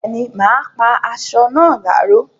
Bẹ́ẹ̀ni, mà á pá asọ náà láró